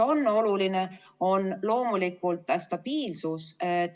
Oluline on loomulikult stabiilsus.